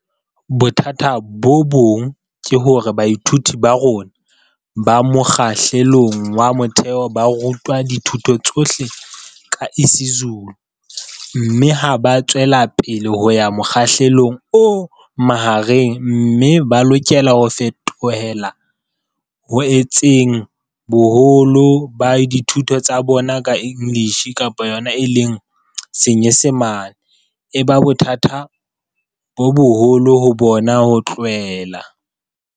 Bothata bo bong ke hore baithuti ba rona ba mokga hlelong wa motheo ba ru twa dithuto tsohle ka isiZulu mme ha ba tswelapele ho ya mokgahlelong o mahareng mme ba lokela ho fetohela ho etseng boholo ba dithuto tsa bona ka English, e ba bothata bo boholo ho bona ho tlwaela.